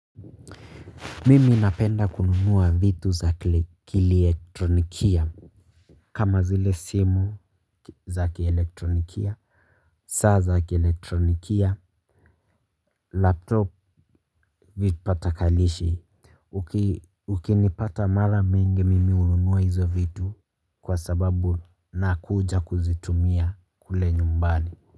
Mimi napenda kununua vitu za kiliektronikia kama zile simu za kielektronikia saa za kielektronikia Laptop vipatakanishi ukinipata mara mingi mimi hununua hizo vitu kwa sababu na kuja kuzitumia kule nyumbani.